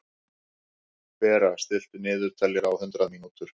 Bera, stilltu niðurteljara á hundrað mínútur.